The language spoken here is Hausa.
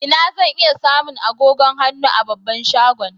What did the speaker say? Inna zan iya samu agogon hannu a babban shagon?